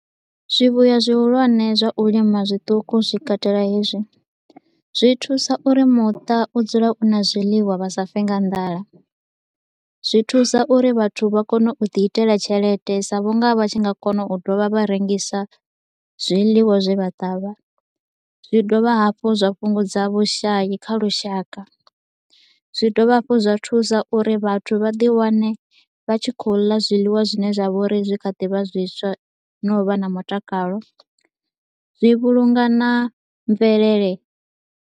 Zwivhuya zwihulwane zwa u lima zwiṱuku zwi katela hezwi. Zwi thusa uri muṱa u dzule u na zwiḽiwa vha sa fe nga nḓala, zwi thusa uri vhathu vha kone u ḓi itela tshelede sa vhunga vha tshi nga kona u dovha vha rengisa zwiḽiwa zwe vha ṱavha. Zwi dovha hafhu zwa fhungudza vhushayi kha lushaka, zwi dovha hafhu zwa thusa uri vhathu vha ḓi wane vha tshi kho u ḽa zwiḽiwa zwine zwa vha uri zwi kha ḓi vha zwiswa na u vha na mutakalo, zwi vhulunga na mvelele.